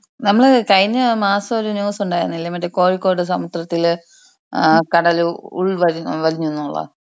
നമ്മൾ കഴിഞ്ഞ മാസം ഒരു ന്യൂസ് ഉണ്ടായിരുന്നില്ലേ മറ്റേ കോഴിക്കോട് സമുദ്രത്തിൽ ഏഹ് കടൽ ഏഹ് ഉൾ വലി വലിഞ്ഞൂന്ന് ഉള്ളെ?